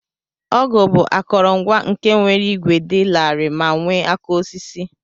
Ọgụ bu akọrọngwa nke nwere igwe di lari me nwe aka osisi.